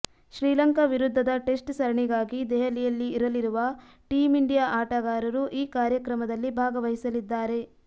ಶ್ರೀಲಂಕಾ ವಿರುದ್ಧದ ಟೆಸ್ಟ್ ಸರಣಿಗಾಗಿ ದೆಹಲಿಯಲ್ಲಿ ಇರಲಿರುವ ಟೀಂ ಇಂಡಿಯಾ ಆಟಗಾರರು ಈ ಕಾರ್ಯಕ್ರಮದಲ್ಲಿ ಭಾಗವಹಿಸಲಿದ್ದಾರೆ